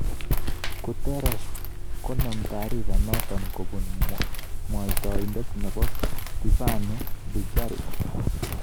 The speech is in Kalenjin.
Guterres konem tarifa notok kobun mwataindet nebo Stephane Dujarric.